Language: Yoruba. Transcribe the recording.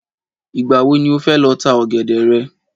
Ìgbà wo ni o fẹ́ lọ tá ọ̀gẹ̀dẹ̀ rẹ?